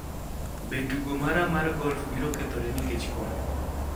Be tugo mara mar golf biro kethore nikech koth?